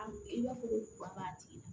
A i b'a fɔ ko kura b'a tigi la